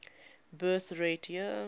birth rate year